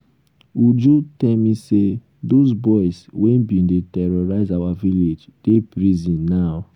uju tell me say those boys wey bin dey terrorize our village dey prison um now